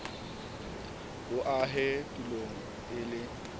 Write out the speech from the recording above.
bo ahe tulong e le